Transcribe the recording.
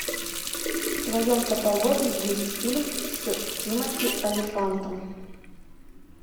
в твоем каталоге есть фильм с тимоти олифантом